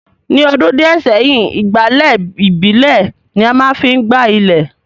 ní ọdún díẹ̀ sẹ́yìn, ìgbálẹ̀ ìbílè ni a má ń fi gbá ilẹ̀